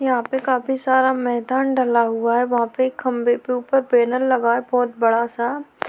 यहाँ पे काफी सारा मैंदान डला हुआ है वहाँ पे खम्बे पे ऊपर बेनर लगा है बहोत बड़ा सा।